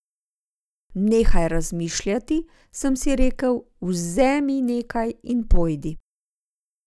Nehaj razmišljati, sem si rekel, vzemi nekaj in pojdi.